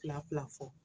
Fila fila fɔ